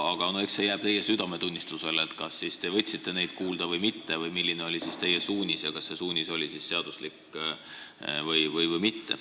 Eks see jääb teie südametunnistusele, kas te võtsite neid kuulda või mitte ning milline oli teie suunis, kas see oli seaduslik või mitte.